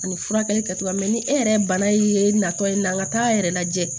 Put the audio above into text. Ani furakɛli kɛcogoya mɛ ni e yɛrɛ bana ye natɔ ye n'a t'a yɛrɛ lajɛ